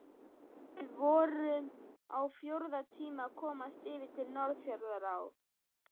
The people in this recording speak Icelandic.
Við vorum á fjórða tíma að komast yfir að Norðfjarðará.